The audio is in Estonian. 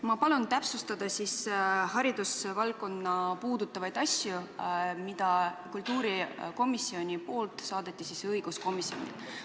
Ma palun täpsustada haridusvaldkonda puudutavaid asju, mille kultuurikomisjon saatis õiguskomisjonile.